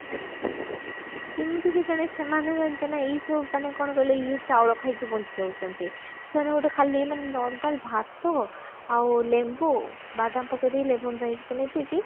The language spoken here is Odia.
କେମିତି କେଜାଣି ସେମାନେ ଜାଣିଛ ନା ଏଇସବୁ ମାନେ କଣ କହିଲ ଇଏ ଚାଉଳ ଖାଇକି ବଞ୍ଚି ଯାଉଛନ୍ତି ସେମାନେ ଗୋଟେ ଖାଲି ମାନେ normal ଭାତ ଆଉ ଲେମ୍ବୁ ବାଦାମ ପକେଇଦେଇ lemon rice ବନେଇ ଦେଇକି